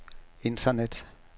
internet